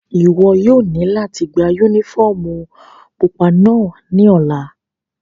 Iwọ yóò ni lati gba unifọmú pupa náa ni ọla!